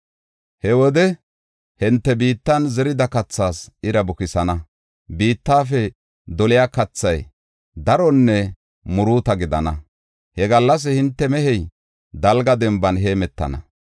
He wode I, hinte biittan zerida kathaas ira bukisana; biittafe doliya kathay daronne muruuta gidana. He gallas hinte mehey dalga denban heemetana.